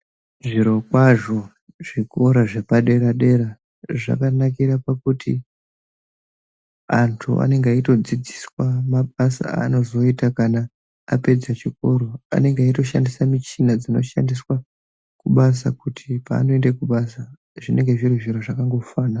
Zvirokwazvo zvikora zvepadera-dera zvakanakira pakuti antu anenga aitodzidziswa mabasa aanozoita kana apedza chikoro. Anenge echitoshandisa michina dzinoshandiswa kubasa kuti paanoende kubasa zvinenge zviri zviro zvakangofana...